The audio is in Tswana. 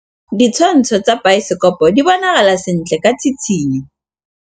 Ditshwantshô tsa biosekopo di bonagala sentle ka tshitshinyô.